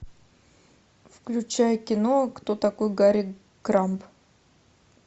включай кино кто такой гарри крамб